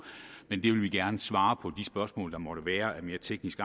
men vi vil gerne svare på de spørgsmål der måtte være af mere teknisk